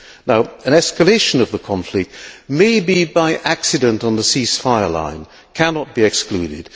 Now an escalation of the conflict maybe by accident on the ceasefire line cannot be excluded